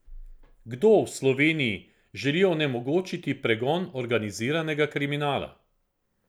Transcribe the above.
Kdo v Sloveniji želi onemogočiti pregon organiziranega kriminala?